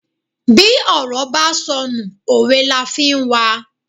Bí òrò bá sọ nú, òwe la fi n wa